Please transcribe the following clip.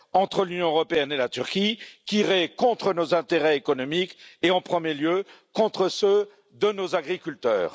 entre l'Union européenne et la Turquie qui irait contre nos intérêts économiques et, en premier lieu, contre ceux de nos agriculteurs.